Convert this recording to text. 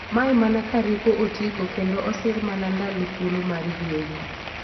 Mae mana ka rieko otiigo kendo osir mana ndalo thuolo mar yweyo.